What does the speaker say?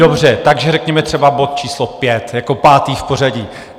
Dobře, takže řekněme třeba bod číslo 5, jako pátý v pořadí.